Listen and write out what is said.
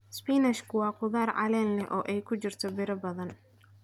Isbinaashka waa khudrad caleem leh oo ay ku jirto bir badan.